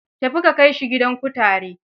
Tafi ka kai shi gidan kutare.